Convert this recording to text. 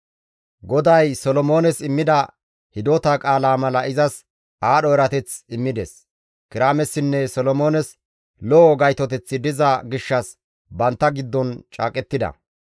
GODAY Solomoones immida hidota qaalaa mala izas aadho erateth immides. Kiraamessinne Solomoones lo7o gaytoteththi diza gishshas bantta giddon caaqettida.